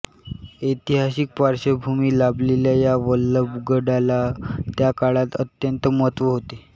ऐतिहासिक पार्श्वभूमी लाभलेल्या या वल्लभगडाला त्याकाळात अत्यंत महत्त्व होते